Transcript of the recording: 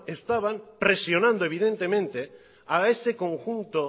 estaban presionando evidentemente a ese conjunto